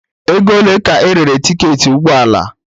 Ego ole ka erere tiketi ụgbọ ala?